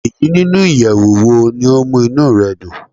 Eyi ninu iyẹwu wo ni o mu inú rẹ dun?